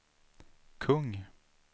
kung